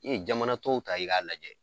I ye jamana tɔw ta i k'a lajɛ